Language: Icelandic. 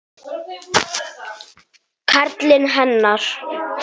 Karlinn hennar.